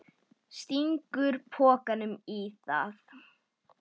Stingur pokanum í það.